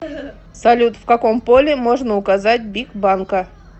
салют в каком поле можно указать бик банка